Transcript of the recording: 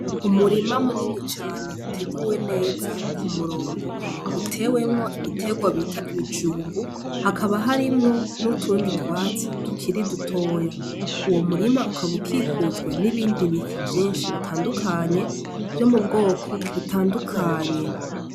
Umurima munini cane uteguwe neza ku murongo utewemwo ibiterwa bita ibijumbu hakaba harimwo n'utundi twatsi tukiri dutoya uwo murima ukaba ukikujwe n'ibindi biti vyinshi bitandukanye vyo mu bwoko bitandukanye.